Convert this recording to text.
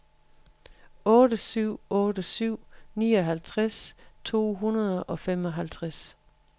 otte syv otte syv nioghalvtreds to hundrede og femoghalvtreds